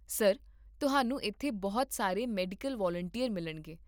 sir, ਤੁਹਾਨੂੰ ਇੱਥੇ ਬਹੁਤ ਸਾਰੇ ਮੈਡੀਕਲ ਵਾਲੰਟੀਅਰ ਮਿਲਣਗੇ